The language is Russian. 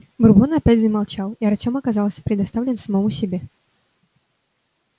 бурбон опять замолчал и артём оказался предоставлен самому себе